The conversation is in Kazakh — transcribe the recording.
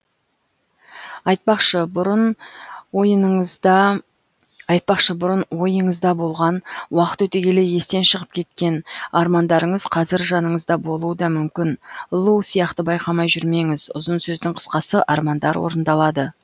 айтпақшы бұрын ойыңызда болған уақыт өте келе естен шығып кеткен армандарыңыз қазір жаныңызда болуы да мүмкін лу сияқты байқамай жүрмеңіз ұзын сөздің қысқасы армандар орындалады